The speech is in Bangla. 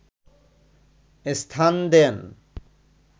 স্থান দেন